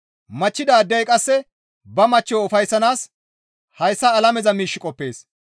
Machchidaadey qasse ba machchiyo ufayssanaas hayssa alameza miish qoppees.